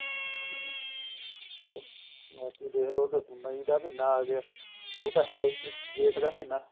ਹੋਰ ਬਾਕੀ ਦੇਖਲੋ ਫੇਰ ਮਈ ਦਾ ਮਹੀਨਾ ਆ ਗਿਆ ਉਹ ਤਾਂ ਹੈ ਓ ਜੇਠ ਦਾ ਮਹੀਨਾ